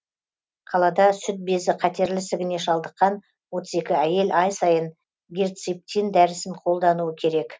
қалада сүт безі қатерлі ісігіне шалдыққан отыз екі әйел ай сайын герциптин дәрісін қолдануы керек